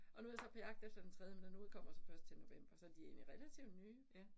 Og nu jeg så på jagt efter den tredje, men den udkommer så først til november, så de egentlig relativt nye